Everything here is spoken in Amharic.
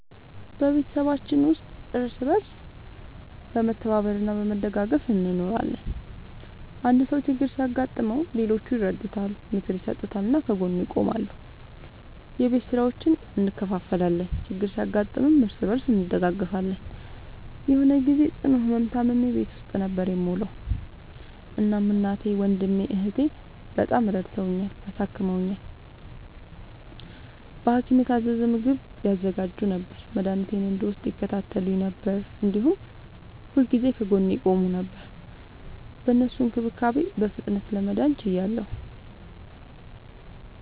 በቤተሰባችን ውስጥ እርስ በርስ በመተባበር እና በመደጋገፍ እንኖራለን። አንድ ሰው ችግር ሲያጋጥመው ሌሎቹ ይረዱታል፣ ምክር ይሰጡታል እና ከጎኑ ይቆማሉ። የቤት ስራዎችን እንከፋፈላለን፣ ችግር ሲያጋጥምም እርስ በርስ እንደጋገፋለን። የሆነ ግዜ ጽኑ ህመም ታምሜ ቤት ውስጥ ነበር የምዉለዉ። እናም እናቴ፣ ወንድሜ፣ እህቴ፣ በጣም ረድተዉኛል፣ አሳክመዉኛል። በሀኪም የታዘዘ ምግብ ያዘጋጁ ነበር፣ መድኃኒቴን እንድወስድ ይከታተሉኝ ነበር፣ እንዲሁም ሁልጊዜ ከጎኔ ይቆሙ ነበር። በእነሱ እንክብካቤ በፍጥነት ለመዳን ችያለሁ።